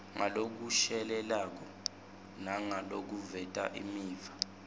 ngalokushelelako nangalokuveta imiva